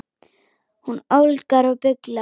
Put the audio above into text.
Hún ólgar og bullar.